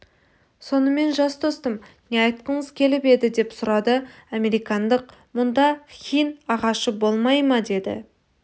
сонымен жас достым не айтқыңыз келіп еді деп сұрады американдық мұнда хин ағашы болмай ма деді